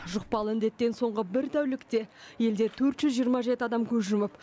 жұқпалы індеттен соңғы бір тәулікте елде төрт жүз жиырма жеті адам көз жұмып